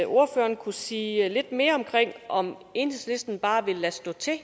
ordføreren kunne sige lidt mere om enhedslisten bare vil lade stå til og